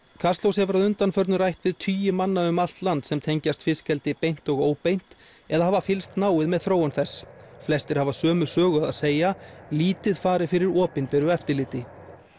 kastljós hefur að undanförnu rætt við tugi manna um allt land sem tengjast fiskeldi beint og óbeint eða hafa fylgst náið með þróun þess flestir hafa sömu sögu að segja lítið fari fyrir opinberu eftirliti